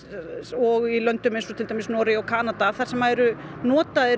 og í löndum eins og til dæmis Noregi og Kanada þar sem eru notaðir